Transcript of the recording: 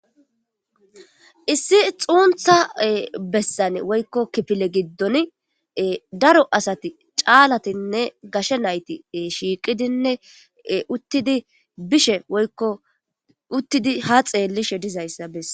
Issi xuntha besan woyko kifile gidon daro asati c'alatine gashe nayti shiqidine utidi tobishe woyko utidi ha xelishe dizaysa bases.